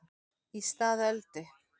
Í stað Öldu